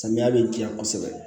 Samiya bɛ diyan kosɛbɛ